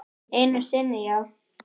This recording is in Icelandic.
Einu sinni já.